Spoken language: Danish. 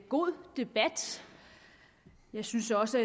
god debat jeg synes også